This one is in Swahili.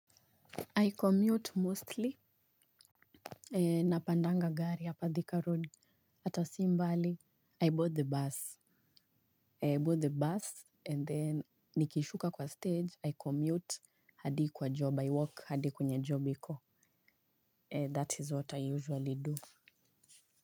I commute mostly. Na pandanga gari hapa thika road Atasimbali I bought the bus I bought the bus and then nikishuka kwa stage I commute hadi kwa job I walk hadi kwenye job iko. That is what I usually do.